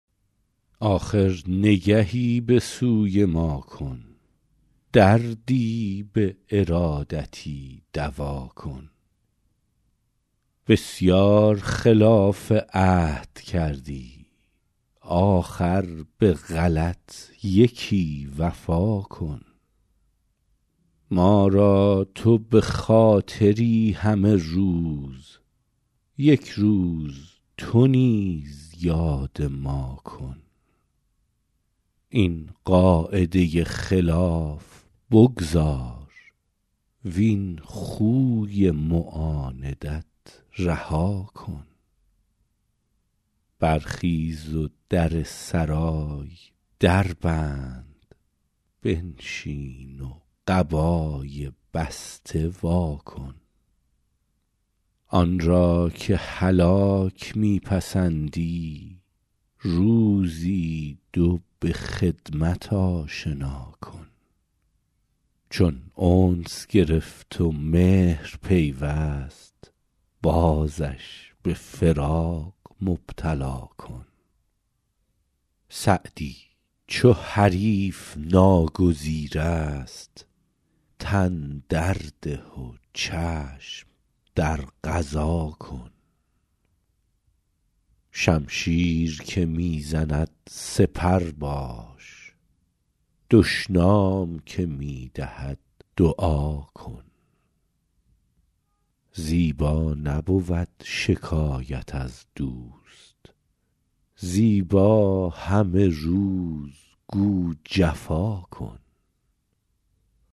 آخر نگهی به سوی ما کن دردی به ارادتی دوا کن بسیار خلاف عهد کردی آخر به غلط یکی وفا کن ما را تو به خاطری همه روز یک روز تو نیز یاد ما کن این قاعده خلاف بگذار وین خوی معاندت رها کن برخیز و در سرای در بند بنشین و قبای بسته وا کن آن را که هلاک می پسندی روزی دو به خدمت آشنا کن چون انس گرفت و مهر پیوست بازش به فراق مبتلا کن سعدی چو حریف ناگزیر است تن در ده و چشم در قضا کن شمشیر که می زند سپر باش دشنام که می دهد دعا کن زیبا نبود شکایت از دوست زیبا همه روز گو جفا کن